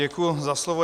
Děkuji za slovo.